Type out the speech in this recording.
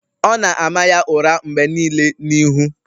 Ọ na-ama ya ụra mgbe nile n'ihu.